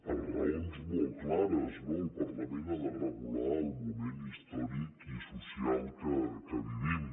per raons molt clares no el parlament ha de regular el moment històric i social que vivim